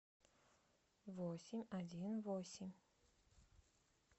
восемь один восемь